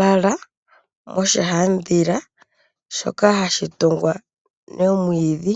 lala moshihaandhila shoka ha ka tungu nomwiidhi.